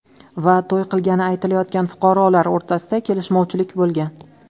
va to‘y qilgani aytilayotgan fuqarolar o‘rtasida kelishmovchilik bo‘lgan.